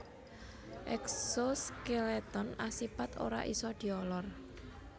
Eksoskeleton asipat ora isa diolor